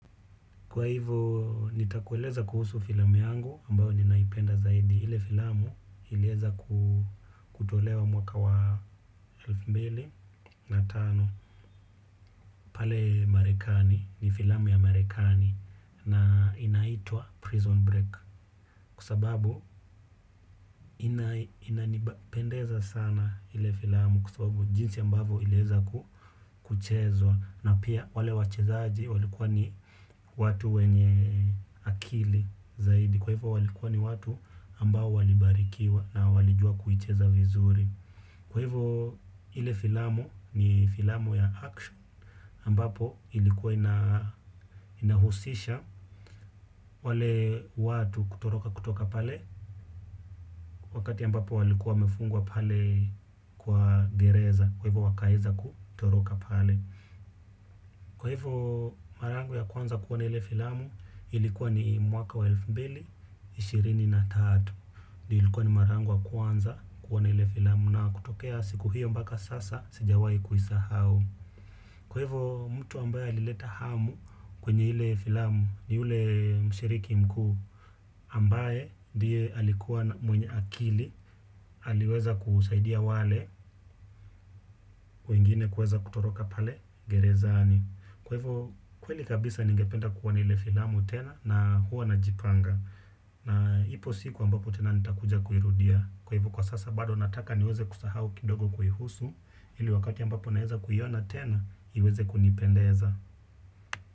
Kwa hivo nitakueleza kuhusu filamu yangu ambayo ninaipenda zaidi ile filamu ilieza kutolewa mwaka wa elfu mbili na tano pale marekani ni filamu ya marekani na inaitwa prison break kwa sababu inanipendeza sana ile filamu kwa sababu jinsi ambavo ilieza kuchezwa na pia wale wachezaji walikuwa ni watu wenye akili zaidi. Kwa hivyo walikuwa ni watu ambao walibarikiwa na walijua kuicheza vizuri. Kwa hivyo ile filamu ni filamu ya action ambapo ilikuwa inahusisha wale watu kutoroka kutoka pale wakati ambapo walikuwa wamefungwa pale kwa gereza. Kwa hivyo wakaeza kutoroka pale. Kwa hivyo mara yangu ya kwanza kuona ile filamu. Ilikuwa ni mwaka wa elfu mbili, ishirini na tatu. Na ilikuwa ni mara yangu wa kwanza kuona ile filamu na kutokea siku hiyo mbaka sasa sijawahi kuisahau. Kwaivo mtu ambaye alileta hamu kwenye ile filamu ni ule mshiriki mkuu. Ambaye ndiye alikuwa mwenye akili aliweza kusaidia wale wengine kuweza kutoroka pale gerezani. Kwaivo kweli kabisa ningependa kuona ile filamu tena na huwa najipanga na ipo siku ambapo tena nitakuja kuirudia. Kwa hivo kwa sasa bado nataka niweze kusahau kidogo kuihusu. Ili wakati ambapo naeza kuiona tena, iweze kunipendeza.